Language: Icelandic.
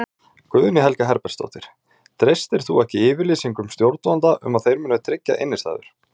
Guðný Helga Herbertsdóttir: Treystir þú ekki yfirlýsingum stjórnvalda að þeir muni tryggja innistæður?